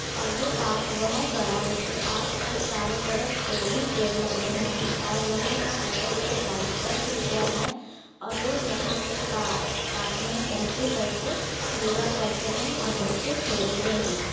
और ये पार्क बोहोत बड़ा है इसके आस पास चारो तरफ पेड़ हिं पेड़ लगे हुए हैं और यहाँ का टिकट का प्राइस दस रुपया है और लोग यहाँ पे पार्क मे एंट्री कर के योगा करते है ओर बच्चे खेलते है ।